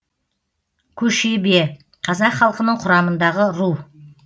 көшебе қазақ халқының құрамындағы ру